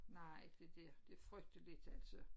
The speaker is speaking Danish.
Nej det det. Det frygteligt altså